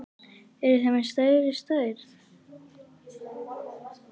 Eruð þið með stærri stærð?